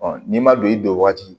n'i ma don i don o waati